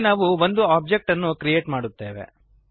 ಹೀಗೆ ನಾವು ಒಂದು ಒಬ್ಜೆಕ್ಟ್ ಅನ್ನು ಕ್ರಿಯೇಟ್ ಮಾಡುತ್ತೇವೆ